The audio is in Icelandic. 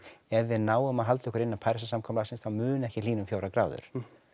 ef við náum að halda okkur innan Parísarsamkomulagsins þá mun ekki hlýna um fjórar gráður